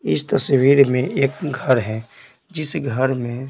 इस तस्वीर में एक घर है जिस घर में--